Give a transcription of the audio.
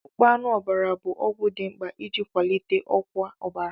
Akpụkpọ anụ ọbara bụ ọgwụ dị mkpa iji kwalite ọkwa ọbara.